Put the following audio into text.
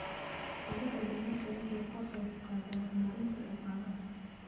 Kobaca dalaggu waxa uu ka qayb qaataa horumarinta dhaqaalaha.